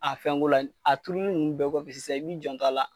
A fɛnko la a turuli nunnu bɛɛ kɔ fɛ sisan i b'i jan to a la.